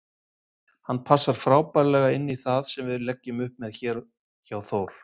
Hann passar frábærlega inní það sem við leggjum upp með hér hjá Þór.